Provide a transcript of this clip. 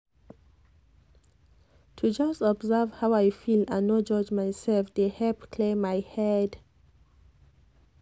to just observe how i feel and no judge myself dey help clear my head